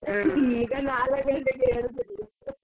ಈಗ ನಾಲ್ಕು ಗಂಟೆಗೆ ಏಳುದಿರ್ಲಿ.